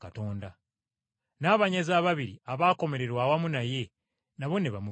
N’abanyazi ababiri abaakomererwa awamu naye nabo ne bamuvuma.